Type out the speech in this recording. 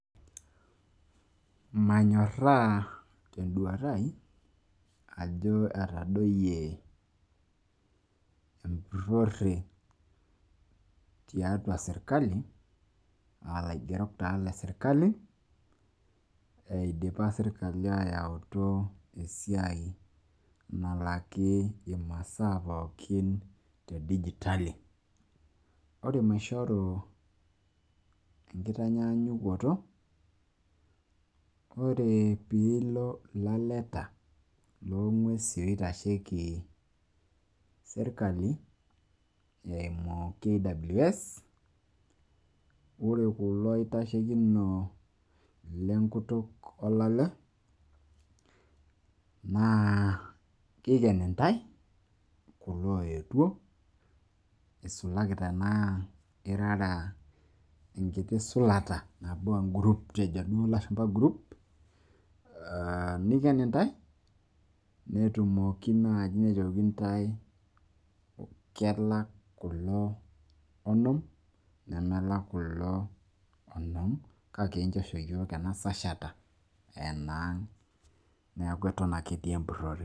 Mmanyoraa te n`duata ai ajo etadoyie empurorre tiarua sirkali aa laigerok taa le sirkali. Eidipa sirkali ayautu esiai nalaki imasaa pookin te digitali cs]. Ore maishoru enkitanyaanyukoto ore pee ilo ilaleta loo ng`uesin oitasheki sirkali eimu KWS. Ore kulo aitashekinon lenkutuk olale naa kiken intae kulo ooyetuo isulaki tenaa irara enkiti sulata nabo e group, kejo duo ilashumpa group. Aaah niken intae netumoki naaji ntae kelak kulo onom nemelak kulo onom kake inchosho iyiok ena sashata aa enaang niaku eton ake etii empurrore.